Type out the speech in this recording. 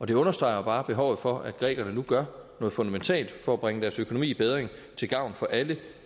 det understreger jo bare behovet for at grækerne nu gør noget fundamentalt for at bringe deres økonomi i bedring til gavn for alle